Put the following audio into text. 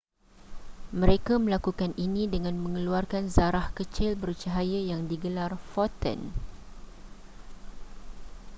mereka melakukan ini dengan mengeluarkan zarah kecil bercahaya yang digelar foton